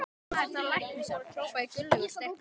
Þessi maður þarf læknishjálp hrópaði Gunnlaugur sterki.